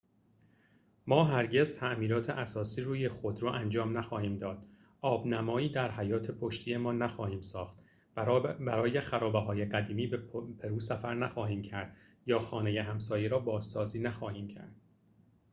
ما هرگز تعمیرات اساسی روی خودرو انجام نخواهیم داد آب‌نمایی در حیاط پشتی‌مان نخواهیم ساخت برای خرابه‌های قدیمی به پرو سفر نخواهیم کرد یا خانه همسایه را بازسازی نخواهیم کرد